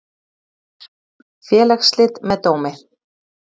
Félagsslit með dómi.